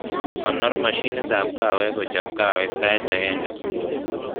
Konor mashinitab kahawek kochob kahawek sait ageng subui